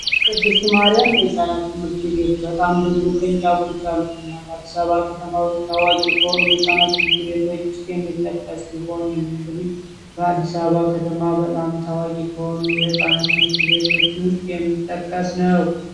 ቅድስት ማርያም የህጻናት ትምህርት ቤት በጣም ብዙ ቅርንጫፎች ያሉትና በአዲስ አበባ የሚገኝ ታዋቂ ከሆኑት የሕፃናት ትምህርት ቤቶች ውስጥ በቀዳሚነት የሚጠቀስ ነው። ይህ እንግዲህ በአዲስ አበባ ከተማ በጣም ታዋቂ ከሆኑት የህፃናት ትምህርት ቤቶች ውስጥ የሚጠቀስ ነው።